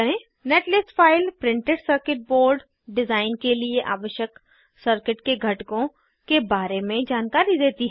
netlist file printed circuit board design के लिए आवश्यक सर्किट के घटकों के बारे में जानकारी देती है